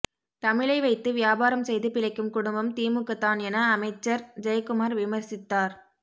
தமிழை வைத்து வியாபாரம் செய்து பிழைக்கும் குடும்பம் திமுக தான் என அமைச்சர் ஜெயக்குமார் விமர்சித்தார்